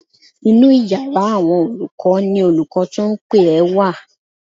Inú yàrá àwọn olùkọ́ ni olùkọ́ tó ń pè ẹ́ wà